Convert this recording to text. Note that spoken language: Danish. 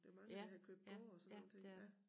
Der mange der har købt gårde og sådan nogle ting ja